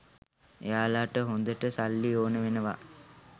එයාලට හොදට සල්ලි ඕන වෙනවා